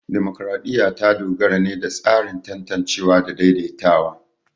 Dimokuradiyya ta dogara ne da tsarin tantancewa da daidaitawa.